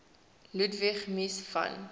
ludwig mies van